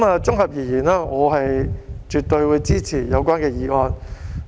綜合而言，我絕對支持有關的議案。